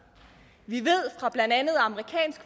vi ved fra blandt andet amerikansk